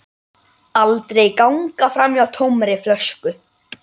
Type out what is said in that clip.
Aldrei ganga framhjá tómri flösku.